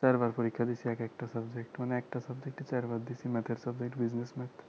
চারবার পরীক্ষা দিয়েছি একেক টা subject মানে একটা subject চারবার দিয়েছি math এর subject business math